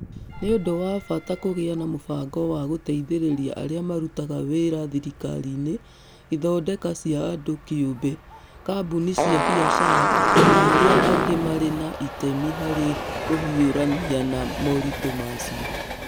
Nĩ ũndũ wa bata kũgĩa na mũbango wa gũteithĩrĩria arĩa marutaga wĩra thirikari-inĩ, ithondeka cia andũ kĩũmbe, kambuni cia biacara, na arĩa angĩ marĩ na itemi harĩ kũhiũrania na moritũ macio.